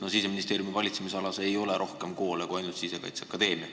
Siseministeeriumi valitsemisalas ei ole rohkem koole kui ainult Sisekaitseakadeemia.